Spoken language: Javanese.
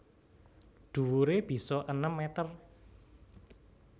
Dhuwuré bisa enem meter